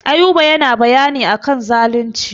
Ayuba yana bayani a kan zalunci.